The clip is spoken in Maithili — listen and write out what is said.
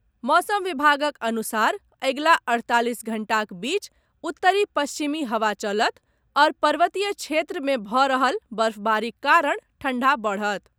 मौसम विभागक अनुसार अगिला अठतालिस घण्टाक बीच उत्तरी पश्चिमी हवा चलत आओर पर्वतीय क्षेत्र मे भऽ रहल बर्फबारीक कारण ठण्डा बढ़त।